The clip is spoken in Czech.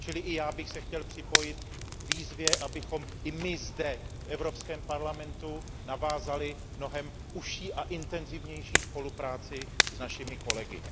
Čili i já bych se chtěl připojit k výzvě, abychom i my zde v Evropském parlamentu navázali mnohem užší a intenzivnější spolupráci s našimi kolegy.